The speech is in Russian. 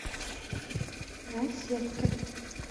наседки